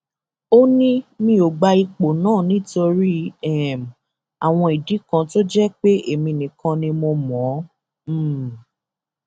ó ní mi ò gba ipò náà nítorí um àwọn ìdí kan tó jẹ pé èmi nìkan ni mo mọ ọn um